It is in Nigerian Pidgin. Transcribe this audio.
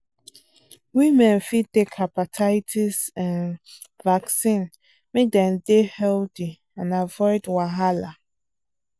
women fit take hepatitis um vaccine make dem dey healthy and avoid wahala.